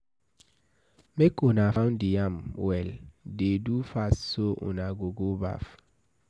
Make una pound the yam well, dey do fast so una go go baff.